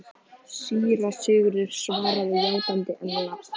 Síra Sigurður svaraði játandi, en lágt.